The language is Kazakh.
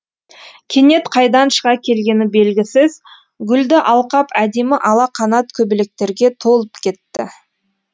кенет қайдан шыға келгені белгісіз гүлді алқап әдемі ала қанат көбелектерге толып кетті